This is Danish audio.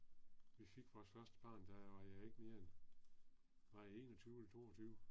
Vi fik første barn der var jeg ikke mere end var jeg 21 eller 22